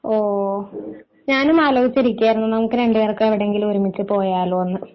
ഓ. ഞാനും ആലോചിച്ചിരിക്കായിരുന്നു നമുക്ക് രണ്ടു പേർക്കും എവിടെ എങ്കിലും ഒരുമിച്ച് പോയാലോ എന്ന്